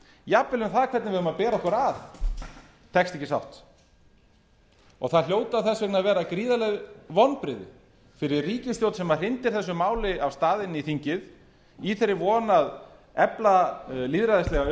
jafnvel um það hvernig við eigum að bera okkur að tekst ekki sátt og það hljóta þess vegna að vera gríðarleg vonbrigði fyrir ríkisstjórn se hrindir þessu máli af stað inn í þingið í þeirri von að efla lýðræðislega